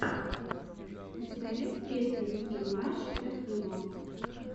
у тебя есть песня ники минаж эт виво